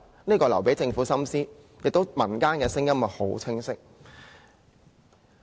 這個留給政府深思，民間的聲音亦很清晰。